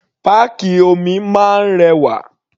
Páàkì omi máa ń rẹwà.